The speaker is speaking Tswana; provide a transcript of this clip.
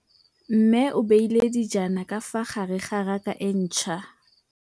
Mmê o beile dijana ka fa gare ga raka e ntšha.